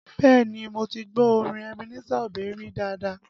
Bẹẹ ni, mo ti gbọ́ orin Ebenezer Obey rí dáadáa